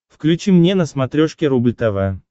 включи мне на смотрешке рубль тв